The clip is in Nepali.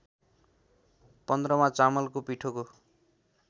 पन्ध्रमा चामलको पिठोको